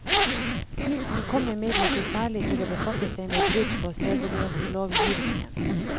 Han kom imidlertid særlig til å befatte seg med brudd på sedelighetslovgivningen.